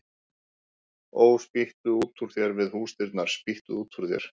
Ó, spýttu út úr þér við húsdyrnar, spýttu út úr þér